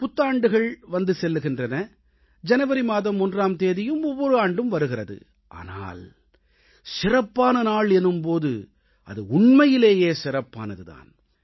புத்தாண்டுகள் வந்து செல்கின்றன ஜனவரி மாதம் 1ஆம் தேதியும் ஒவ்வொரு ஆண்டும் வருகிறது ஆனால் சிறப்பான நாள் எனும் போது அது உண்மையிலேயே சிறப்பானது தான்